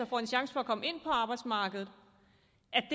får en chance for at komme ind på arbejdsmarkedet